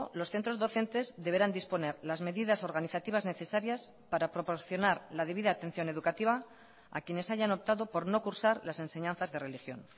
los centros docentes deberán disponer las medidas organizativas necesarias para proporcionar la debida atención educativa a quienes hayan optado por no cursar las enseñanzas de religión